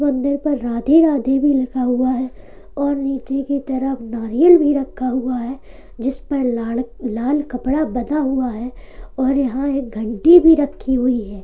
मंदिर पर राधे राधे भी लिखा हुआ है और नीचे की तरफ नारियल भी रखा हुआ है जिस पर लाड़ लाल कपड़ा बंधा हुआ है और यहां एक घंटी भी रखी हुई है।